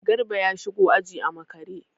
Garba ya shigo aji a makare.